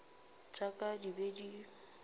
tša ka di be di